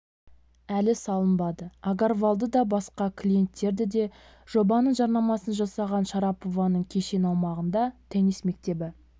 әлі салынбады агарвалды да басқа клиенттерді де жобаның жарнамасын жасаған шарапованың кешен аумағында теннис мектебі